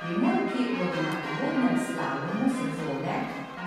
Primorki bodo na uvodnem slalomu sezone